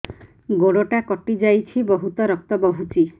ଗୋଡ଼ଟା କଟି ଯାଇଛି ବହୁତ ରକ୍ତ ବହୁଛି